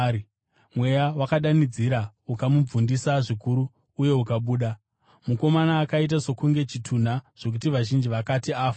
Mweya wakadanidzira, ukamubvundisa zvikuru uye ukabuda. Mukomana akaita sokunge chitunha zvokuti vazhinji vakati, “Afa.”